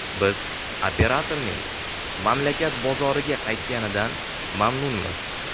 Biz operatorning mamlakat bozoriga qaytganidan mamnunmiz.